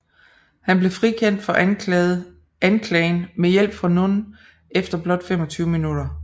Han blev frikendt for anklageren med hjælp fra Nunn efter blot 25 minutter